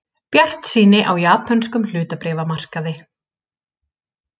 Bjartsýni á japönskum hlutabréfamarkaði